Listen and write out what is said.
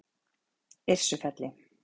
Yrsufelli